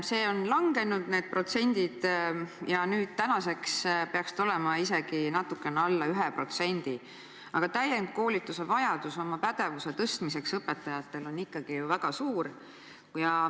See on langenud ja nüüdseks peaks see olema isegi natukene alla 1%, aga täienduskoolituse vajadus oma pädevuse tõstmiseks on õpetajatel ikkagi väga suur.